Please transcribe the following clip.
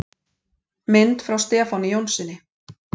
Mynd frá Stefáni Jónssyni.